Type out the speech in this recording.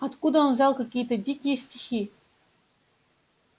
откуда он взял какие-то дикие стихи